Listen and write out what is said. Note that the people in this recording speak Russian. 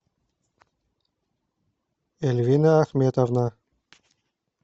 эльвина ахметовна